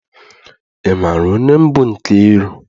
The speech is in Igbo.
Ị maara onye bụ Nkeiru?